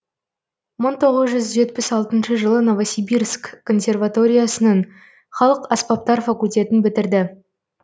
мың тоғыз жүз жетпіс алтыншы жылы новосибирск консерваториясының халық аспаптар факультетін бітірді